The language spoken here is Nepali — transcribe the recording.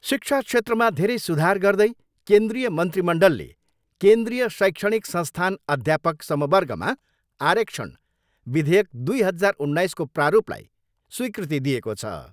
शिक्षा क्षेत्रमा धेरै सुधार गर्दै केन्द्रीय मन्त्रिमण्डलले केन्द्रीय शैक्षणिक संस्थान अध्यापक समवर्गमा आरक्षण विधेयक दुई हजार उन्नाइसको प्रारूपलाई स्विकृति दिएको छ।